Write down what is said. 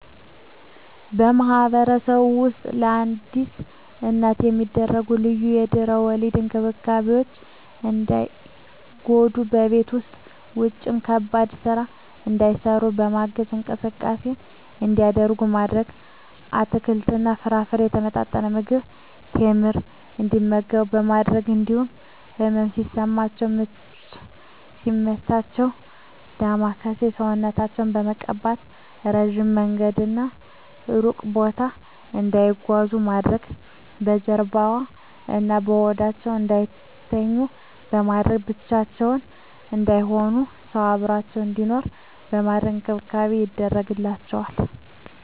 በማህበረሰባችን ውስጥ ለአዲስ እናት የሚደረጉ ልዩ የድህረ ወሊድ እንክብካቤዎች እንዳይጎዱ በቤት ውስጥም ውጭም ከባድ ስራ እንዳይሰሩ በማገዝ፣ እንቅስቃሴ እንዲያደርጉ ማድረግ፣ አትክልትና ፍራፍሬ፣ የተመጣጠነ ምግብ፣ ቴምር እንዲመገቡ በማድረግ እንዲሁም ህመም ሲሰማቸው ምች ሲመታቸው ዳማከሴ ሰውነታቸውን በመቀባት፣ እረጅም መንገድና እሩቅ ቦታ እንዳይጓዙ ማድረግ፣ በጀርባዋ እና በሆዳቸው እንዳይተኙ በማድረግ፣ ብቻቸውን እንዳይሆኑ ሰው አብሮአቸው እንዲኖር በማድረግ እንክብካቤ ይደረግላቸዋል።